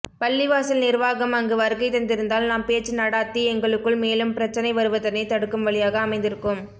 பள்ளிவாசல் நிருவாகம் அங்கு வருகைதந்திருந்தால் நாம் பேச்சு நடாத்தி எங்களுக்குள் மேலும் பிரச்சினை வருவதனை தடுக்கும் வழியாக அமைந்திருக்கும்